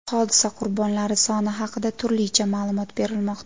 Hodisa qurbonlari soni haqida turlicha ma’lumot berilmoqda.